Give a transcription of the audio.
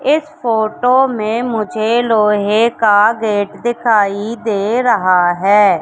इस फोटो में मुझे लोहे का गेट दिखाई दे रहा है।